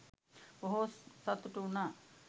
බොහෝ සතුටු වුනා.